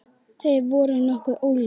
Þeir voru nokkuð ólíkir.